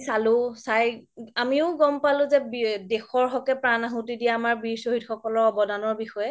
চালো চাই আমিও গ'ম পালো যে দেশৰ হকে প্ৰান আহুতি দিয়া আমাৰ বিৰ চ্হিদ সকল অবদানৰ বিষয়ে